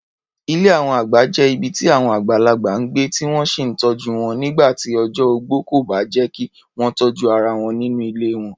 Ilé àwọn àgbà jẹ́ ibi tí àwọn àgbàlagbà ń gbé, tí wọ́n sì ń tọ́jú wọn nígbà tí ọjọ́ ogbó kò bá jẹ́ kí wọ́n tọ́jú ara wọn nínú ilé wọn.